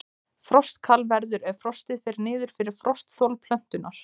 Frostkal verður ef frostið fer niður fyrir frostþol plöntunnar.